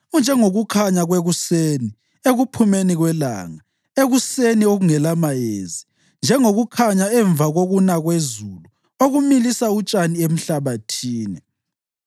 unjengokukhanya kwekuseni ekuphumeni kwelanga ekuseni okungelamayezi, njengokukhanya emva kokuna kwezulu okumilisa utshani emhlabathini.’